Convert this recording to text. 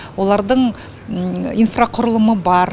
олардың инфрақұрылымы бар